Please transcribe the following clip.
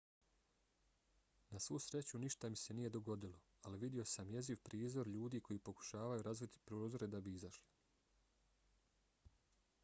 na svu sreću ništa mi se nije dogodilo ali vidio sam jeziv prizor ljudi koji pokušavaju razbiti prozore da bi izašli.